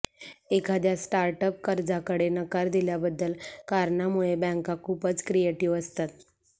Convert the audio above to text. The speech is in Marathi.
एखाद्या स्टार्टअप कर्जाकडे नकार दिल्याबद्दल कारणांमुळे बँका खूपच क्रिएटिव्ह असतात